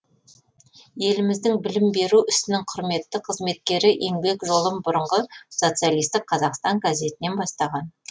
еліміздің білім беру ісінің құрметті қызметкері еңбек жолын бұрынғы социалистік қазақстан газетінен бастаған